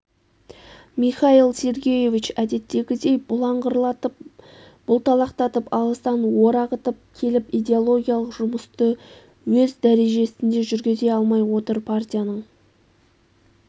михаил сергеевич әдеттегідей бұлыңғырлатып бұлталақтатып алыстан орағытып келіп идеологиялық жұмысты өз дәрежесінде жүргізе алмай отыр партияның